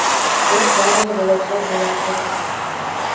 бірақ барлығы жолаушылар ойлағандай болып жатқан жоқ